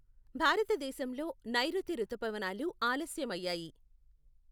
భారతదేశంలో నైరుతి రుతుపవనాలు ఆలస్యమయ్యాయి.